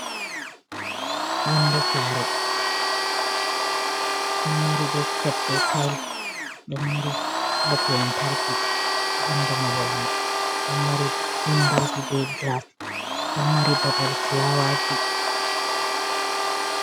Yonde saare ɗon mari be siteb be tils, ɗon mari bob lantarki bandu mahol mai, ɗon mari windoji be gilas, ɗon mari babal fulawaji.